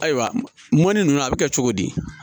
Ayiwa mɔni ninnu a bɛ kɛ cogo di